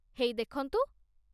ହେଇ ଦେଖନ୍ତୁ